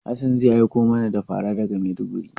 Hassan zai aiko mana da fara daga Maiduguri.